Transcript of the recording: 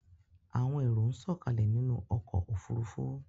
Àwọn èrò ń sọ̀kalẹ̀ nínú ọkò òfurufú.